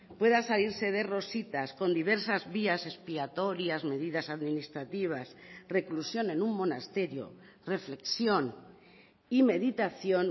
pueda salirse de rositas con diversas vías expiatorias medidas administrativas reclusión en un monasterio reflexión y meditación